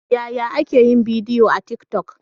Yaya ake yin bidiyo a tik toc?